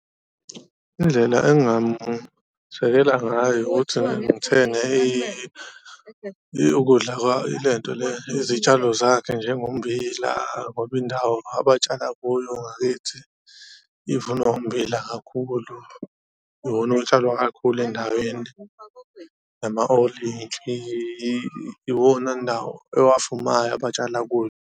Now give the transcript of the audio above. Indlela engamsekela ngayo ukuthi ngithenge ukudla ilento le izitshalo zakhe njengommbila ngoba indawo abatshala kuyo angakithi ivunwa ummbila kakhulu, iwona otshalwa kakhulu endaweni nama olintshi iwona nawo ewavumayo abatshala kuyo.